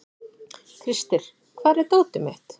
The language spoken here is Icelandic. Krister, hvar er dótið mitt?